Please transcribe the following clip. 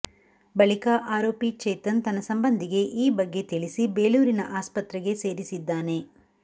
ಬಳಿಕ ಆರೋಪಿ ಚೇತನ್ ತನ್ನ ಸಂಬಂಧಿಗೆ ಈ ಬಗ್ಗೆ ತಿಳಿಸಿ ಬೇಲೂರಿನ ಆಸ್ಪತ್ರೆಗೆ ಸೇರಿಸಿದ್ದಾನೆ